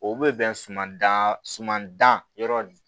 O bɛ bɛn suman dan suman dan yɔrɔ min